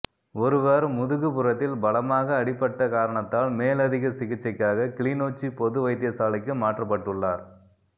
ஒருவர் முதுகுப்புறத்தில் பலமாக அடிபட்ட காரணத்தால் மேலதிக சிகிச்சைக்காக கிளிநொச்சி பொது வைத்தியசாலைக்கு மாற்றப்பட்டுள்ளார்